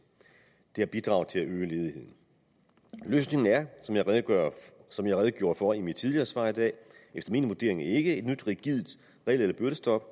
det har bidraget til at øge ledigheden løsningen er som jeg redegjorde for i mit tidligere svar i dag efter min vurdering ikke et nyt rigidt regel eller byrdestop